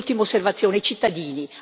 E un'ultima osservazione i cittadini.